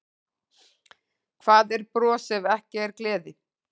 Hvað er bros ef ekki er gleði?